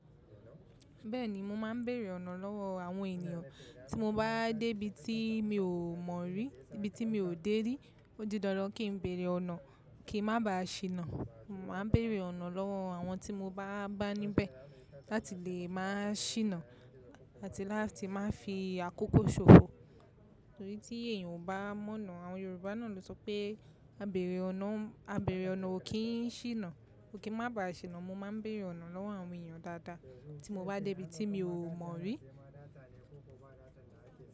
Bẹ́ẹ̀ni, mo máa ń bèrè ọ̀nà lọ́wọ́ àwọn ènìyàn. Tí mo bá dé ibi tí mi ò mọ̀ rí, ibi tí mi ò dé rí, ó di dandan kí n bèrè ọ̀nà kí n má ba à ṣìnà. Mo máa ń bèrè ọ̀nà lọ́wọ́ àwọn tí mo bá bá níbẹ̀ láti lè máa ṣìnà àti láti máa fi àkókò ṣòfò. Torí tí èèyàn ò bá mọ̀nà. Àwọn Yorùbá náà ló sọ pé "abèrè ọ̀nà ò ń–abèrè ọ̀nà ò kí ń ṣìnà", so kí ń má ba à ṣìnà. Mo máa ń bèrè ọ̀nà lọ́wọ́ àwọn ènìyàn dáadáa tí mo bá dé ibi tí mi ò mọ̀ rí.